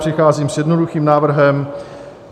Přicházím s jednoduchým návrhem.